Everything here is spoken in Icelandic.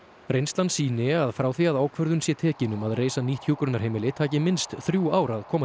reynslan sýni að frá því að ákvörðun sé tekin um að reisa nýtt hjúkrunarheimili taki minnst þrjú ár að koma